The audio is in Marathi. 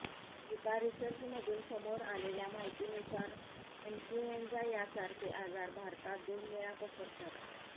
एका रिसर्चमधून समोर आलेल्या माहितीनुसार इन्फुएंजा यांसारखे आजार भारतात दोन वेळा पसरतात